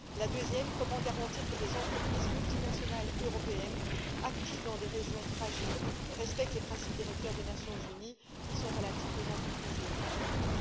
La deuxième, comment garantir que les entreprises multinationales européennes actives dans des régions fragiles respectent les principes directeurs des Nations unies relatifs aux entreprises et aux droits de l'homme?